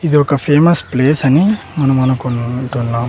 ఇది ఒక famous place అని మనం అనుకుంటున్నాం.